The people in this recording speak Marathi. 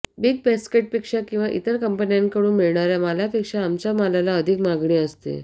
बिग बॅस्केट पेक्षा किंवा इतर कंपन्याकडून मिळणाऱ्या मालापेक्षा आमच्या मालाला अधिक मागणी असते